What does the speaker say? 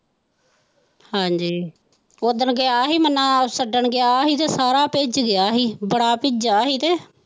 ਹਾਂਜ਼ੀ ਉਸ ਦਿਨ ਗਿਆ ਹੀ ਛੱਡਣ ਗਿਆ ਹੀ ਤੇ ਸਾਰਾ ਭਿੱਜ ਗਿਆ ਹੀ ਬੜਾ ਭਿੱਜਾ ਹੀ ਤੇ।